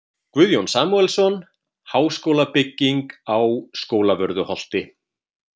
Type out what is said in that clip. Guðjón Samúelsson: Háskólabygging á Skólavörðuholti.